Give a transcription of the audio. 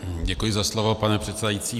Děkuji za slovo, pane předsedající.